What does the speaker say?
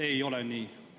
Ei ole nii!